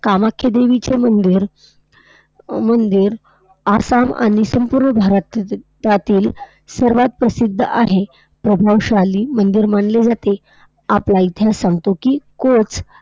कामाख्या देवीचे मंदिर अ~ मंदिर आसाम आणि संपूर्ण भारततातील सर्वांत प्रसिद्ध आहे. प्रभावशाली मंदिर मानले जाते. आपला इतिहास सांगतो कि कोच